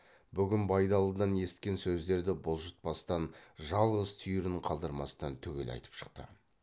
бүгін байдалыдан есіткен сөздерді бұлжытпастан жалғыз түйірін қалдырмастан түгел айтып шықты